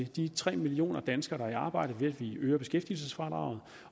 de tre millioner danskere der er i arbejde ved at vi øger beskæftigelsesfradraget